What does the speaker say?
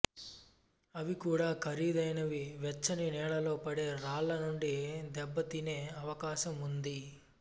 అవి కూడా ఖరీదైనవి వెచ్చని నెలల్లో పడే రాళ్ళ నుండి దెబ్బతినే అవకాశం ఉంది